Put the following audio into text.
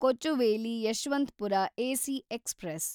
Kochuveli Yeshwantpur AC express